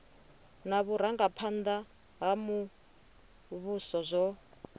na vhurangaphanda ha muvhuso zwo